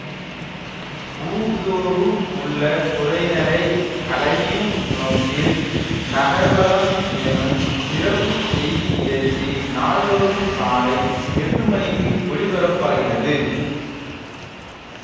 ஊர்தோறும் உள்ள குறைகளை களையும் நோக்கில் நகர்வலம் எனும் சிறப்பு செய்தி நிகழ்ச்சி நாள்தோறும் காலை எட்டு மணிக்கு ஒளிபரப்பாகிறது